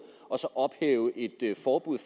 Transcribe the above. og så ophæve et forbud